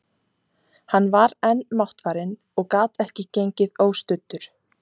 Hann var enn máttfarinn og gat ekki gengið óstuddur.